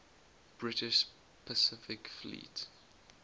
british pacific fleet